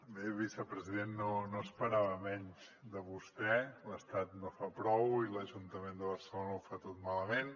bé vicepresident no esperava menys de vostè l’estat no fa prou i l’ajuntament de barcelona ho fa tot malament